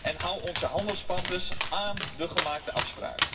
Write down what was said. en houd onze handelspartners aan de gemaakte afspraken.